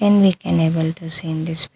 And we can able to see in this --